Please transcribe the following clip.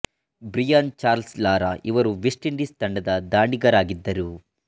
Brian Charles Lara ಇವರು West Indies ತಂಡದ ದಾಂಡಿಗರಾಗಿದ್ದರು